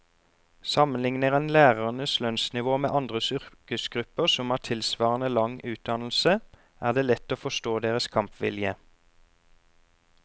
Sammenlikner en lærernes lønnsnivå med andre yrkesgrupper som har tilsvarende lang utdannelse, er det lett å forstå deres kampvilje.